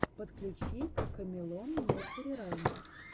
подключи кокомелон несери раймс